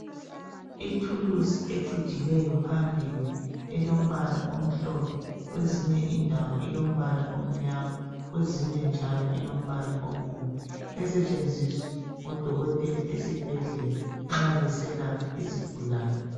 Ithuluzi ecijileyo phambili, elombala omhlophe, kwezinye indawo ilombala omnyama, kwezinye njalo ilombala obomvu, esetshenziswa ngodokotela ezibhedlela nxa beselapha izigulane